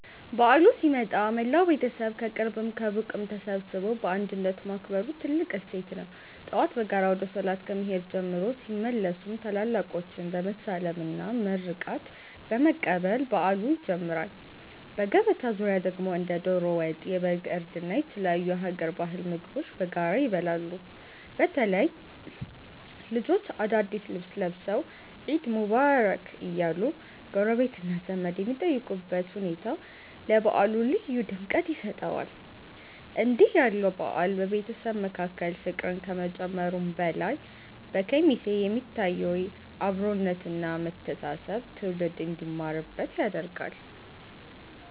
በዓሉ ሲመጣ መላው ቤተሰብ ከቅርብም ከሩቅም ተሰባስቦ በአንድነት ማክበሩ ትልቁ እሴት ነው። ጠዋት በጋራ ወደ ሶላት ከመሄድ ጀምሮ፣ ሲመለሱም ታላላቆችን በመሳለምና መርቆት በመቀበል በዓሉ ይጀምራል። በገበታ ዙሪያ ደግሞ እንደ ዶሮ ወጥ፣ የበግ እርድ እና የተለያዩ የሀገር ባህል ምግቦች በጋራ ይበላሉ። በተለይ ልጆች አዳዲስ ልብስ ለብሰው "ዒድ ሙባረክ" እያሉ ጎረቤትና ዘመድ የሚጠይቁበት ሁኔታ ለበዓሉ ልዩ ድምቀት ይሰጠዋል። እንዲህ ያለው በዓል በቤተሰብ መካከል ፍቅርን ከመጨመሩም በላይ፣ በኬሚሴ የሚታየውን አብሮነት እና መተሳሰብ ትውልድ እንዲማርበት ያደርጋል።